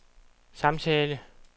samtale